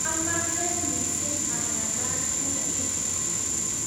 amache mising angalal kutit